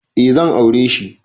Eh zan aureshi